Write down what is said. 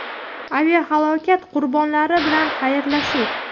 Aviahalokat qurbonlari bilan xayrlashuv.